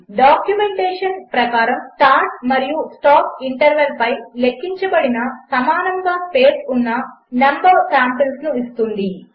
డాక్యుమెంటేషన్ప్రకారము స్టార్ట్మరియుస్టాప్ఇంటర్వల్పైలెక్కించబడినసమానముగాస్పేస్ఉన్నnumసాంపిల్స్నుఇస్తుంది